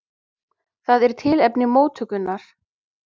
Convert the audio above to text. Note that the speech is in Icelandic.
Það er tilefni móttökunnar.